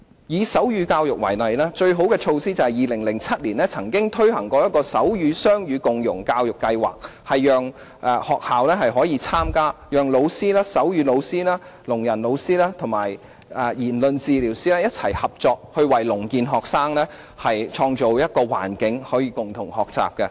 以手語教育為例，最好的措施是在2007年曾經推行手語雙語共融教育計劃，讓學校可以參加，讓手語老師、聾人老師及言語治療師一起合作，為聾健學生創造可以共同學習的環境。